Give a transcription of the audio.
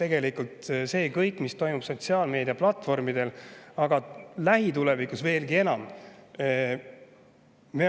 Tegelikult see kõik, mis toimub sotsiaalmeediaplatvormidel, aga lähitulevikus veelgi enam …